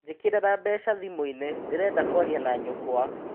Njĩkĩrira mbeca thĩmũinĩ ndĩrenda kwaria na nyukwa.